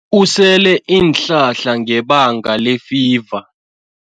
Usele iinhlahla ngebanga lefiva.